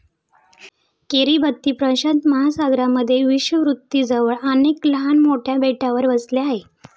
Kiribati प्रशांत महासागरामध्ये विषुववृत्ताजवळ अनेक लहान मोठ्या बेटावर वसले आहे.